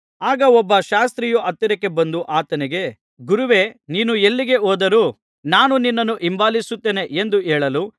ಆಗ ಒಬ್ಬ ಶಾಸ್ತ್ರಿಯು ಹತ್ತಿರಕ್ಕೆ ಬಂದು ಆತನಿಗೆ ಗುರುವೇ ನೀನು ಎಲ್ಲಿಗೆ ಹೋದರೂ ನಾನು ನಿನ್ನನ್ನು ಹಿಂಬಾಲಿಸುತ್ತೇನೆ ಎಂದು ಹೇಳಲು